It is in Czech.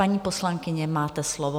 Paní poslankyně, máte slovo.